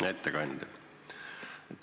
Hea ettekandja!